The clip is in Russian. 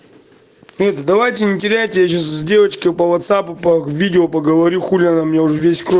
давайте не теряйте я сейчас с девочкой по ватсапу по видео поговорю хули она мне уже весь